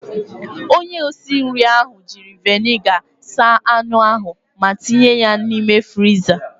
Onye osinri ahụ jiri veniga saa anụ ahụ ma tinye ya n'ime friza.